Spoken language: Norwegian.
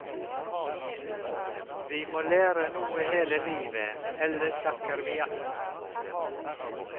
Vi må lære noe hele livet ellers sakker vi akterut.